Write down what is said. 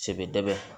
Sebebaa